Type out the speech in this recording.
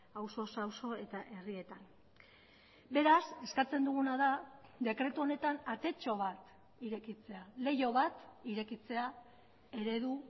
auzoz auzo eta herrietan beraz eskatzen duguna da dekretu honetan atetxo bat irekitzea leiho bat irekitzea eredu